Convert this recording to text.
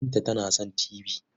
Binta tana son tibi.